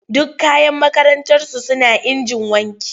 Duk kayan makarantarsu suna injin wanki.